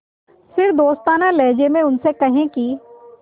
फिर दोस्ताना लहजे में उनसे कहें कि